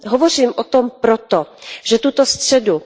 Hovořím o tom proto, že tuto středu,